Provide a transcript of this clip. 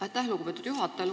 Aitäh, lugupeetud juhataja!